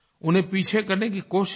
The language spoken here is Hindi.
उन्हें पीछे करने की कोशिश की